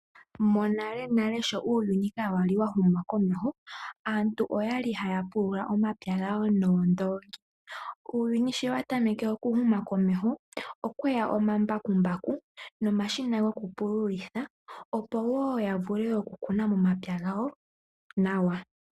Monalenale sho uuyuni kawa li wa huma komeho, aantu okwali haya pulula omapya gawo noondongi. Uuyuni sho wa tameke okuhuma komeho, okweya omambakumbaku nomashina gokupululitha, opo yavule okukuna momapya gawo nawa.